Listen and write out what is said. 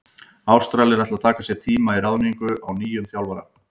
Ástralir ætla að taka sér tíma í ráðningu á nýjum þjálfara.